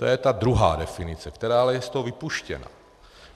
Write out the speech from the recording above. To je ta druhá definice, která ale je z toho vypuštěna.